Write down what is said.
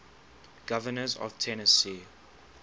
governors of tennessee